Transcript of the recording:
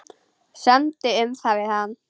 Semdu um það við hann.